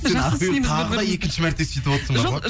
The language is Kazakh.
сен ақбибі тағы да екінші мәрте сөйтіп отырсың бар ғой